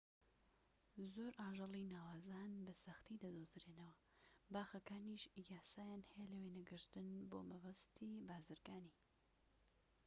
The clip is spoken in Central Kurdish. زۆر ئاژەڵی ناوازە هەن بە سەختی دەدۆزرێنەوە باخەکانیش یاسایان هەیە لە وێنەگرتن بۆ مەبەستی بازرگانی